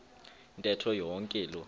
ntetho yonke loo